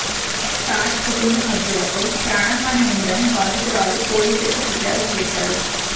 తాజ్ కుటుంబ సభ్యులతో ప్రాణహాని ఉందని బాధితురాలు పోలీసులకు ఫిర్యాదు చేశారు